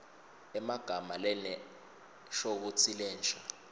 emagama lanenshokutsi lensha